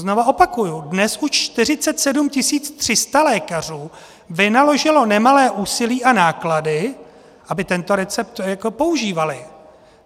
Znovu opakuji, dnes už 47 300 lékařů vynaložilo nemalé úsilí a náklady, aby tento recept používali.